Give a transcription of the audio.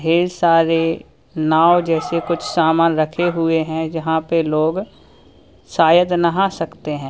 ढेर सारे नाव जैसे कुछ सामान रखे हुए हैं जहां पे लोग शायद नहा सकते हैं।